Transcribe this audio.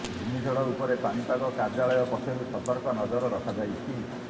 ଘୂର୍ଣ୍ଣିଝଡ଼ ଉପରେ ପାଣିପାଗ କାର୍ଯ୍ୟାଳୟ ପକ୍ଷରୁ ସତର୍କ ନଜର ରଖାଯାଇଛି